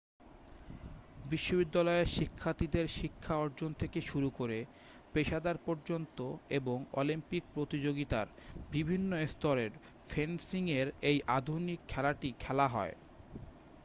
বিশ্ববিদ্যালয়ের শিক্ষার্থীদের শিক্ষা অর্জন থেকে শুরু করে পেশাদার পর্যন্ত এবং অলিম্পিক প্রতিযোগিতার বিভিন্ন স্তরেও ফেন্সিং এর এই আধুনিক খেলাটি খেলা হয়